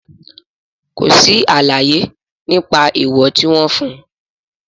Kò sí àlàyé nípa èèwọ̀ tí wọ́n fún.